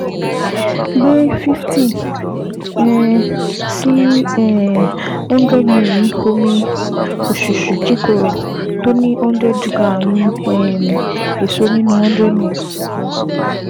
Gbé fifty um sí um one hundred ml omi òṣùṣú kíkorò tó ní one hundred g um èso nínú one hundred ml